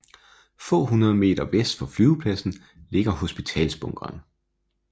Få hundrede meter vest for flyvepladsen ligger hospitalsbunkeren